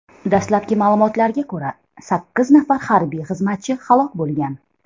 Dastlabki ma’lumotlarga ko‘ra, sakkiz nafar harbiy xizmatchi halok bo‘lgan.